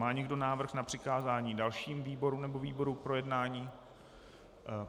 Má někdo návrh na přikázání dalším výborům nebo výboru k projednání?